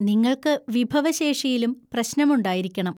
നിങ്ങൾക്ക് വിഭവശേഷിയിലും പ്രശ്‌നമുണ്ടായിരിക്കണം.